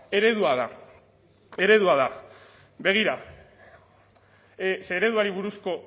eredua da eredua da begira ze ereduari buruzko